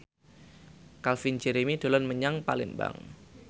Calvin Jeremy dolan menyang Palembang